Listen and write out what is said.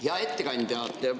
Hea ettekandja!